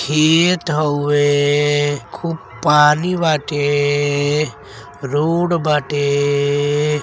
खेत हौबे खूब पानी बाटे रोड बाटे।